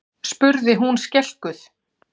spurði hún skelkuð.